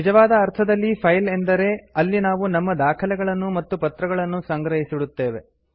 ನಿಜವಾದ ಅರ್ಥದಲ್ಲಿ ಫೈಲ್ ಎಂದರೆ ಅಲ್ಲಿ ನಾವು ನಮ್ಮ ದಾಖಲೆಗಳನ್ನು ಮತ್ತು ಪತ್ರಗಳನ್ನು ಸಂಗ್ರಹಿಸಿಡುತ್ತೇವೆ